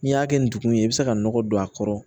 N'i y'a kɛ ndugun ye i bɛ se ka nɔgɔ don a kɔrɔ